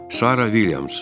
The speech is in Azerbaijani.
Sara Vilyams.